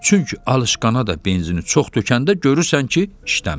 Çünki alışqana da benzini çox tökəndə görürsən ki, işləmir.